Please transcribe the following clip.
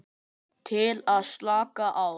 Til að slaka á.